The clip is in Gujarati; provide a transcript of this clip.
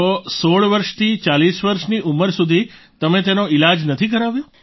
તો 16 વર્ષથી 40 વર્ષની ઉંમર સુધી તમે તેનો ઈલાજ નથી કરાવ્યો